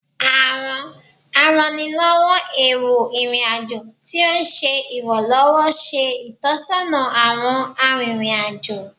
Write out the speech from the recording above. Awọn arannilọwọ ero irin ajo ti o ṣe iranlọwọ ṣe itọsọna awọn aririn ajo